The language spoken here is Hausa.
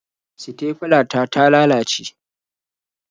Sitefila ta ta lalace.